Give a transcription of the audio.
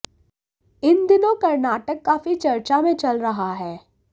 इन दिनों कर्नाटक काफी चर्चा में चल रहा है